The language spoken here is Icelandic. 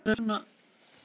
Undir hvíta sæng.